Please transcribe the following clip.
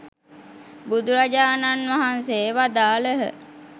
බුදුරජාණන් වහන්සේ වදාළහ.